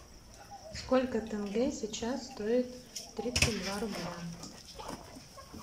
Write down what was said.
сколько тенге сейчас стоит тридцать два рубля